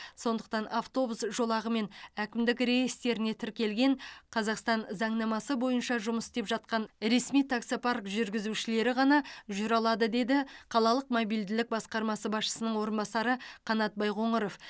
сондықтан автобус жолағымен әкімдік реестріне тіркелген қазақстан заңнамасы бойынша жұмыс істеп жатқан ресми таксопарк жүргізушілері ғана жүре алады деді қалалық мобильділік басқармасы басшысының орынбасары қанат байқоңыров